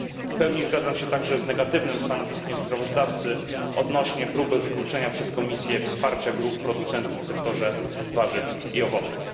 W pełni zgadzam się także z negatywnym stanowiskiem sprawozdawcy odnośnie próby wyeliminowania przez Komisję wsparcia grup producentów w sektorze warzyw i owoców.